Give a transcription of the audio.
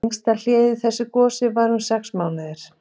Lengsta hléið í þessu gosi var um sex mánuðir.